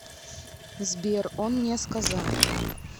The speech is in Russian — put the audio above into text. сбер он не сказал